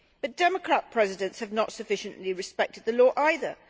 The Democrat presidents have not sufficiently respected the law either.